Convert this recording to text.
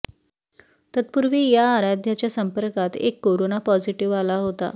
तत्पुर्वी या आराध्याच्या संपर्कात एक कोरोना पॉझिटीव्ह आला होता